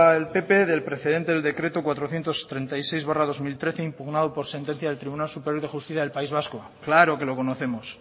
el pp del precedente el decreto cuatrocientos treinta y seis barra dos mil trece impugnado por sentencia del tribunal superior de justicia del país vasco claro que lo conocemos